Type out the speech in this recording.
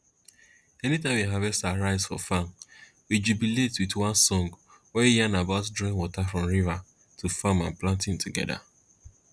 anytime we harvest our rice for farm we jubilate with one song wey yarn about drawing water from river to farm and planting together